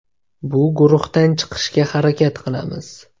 Bu guruhdan chiqishga harakat qilamiz.